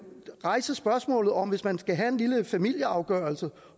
rejse spørgsmålet om hvis man skal have en lille familieafgørelse